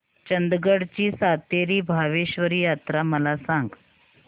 चंदगड ची सातेरी भावेश्वरी यात्रा मला सांग